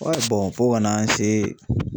fo kana an se